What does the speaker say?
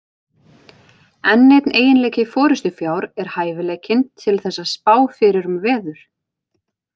Enn einn eiginleiki forystufjár er hæfileikinn til þess að spá fyrir um veður.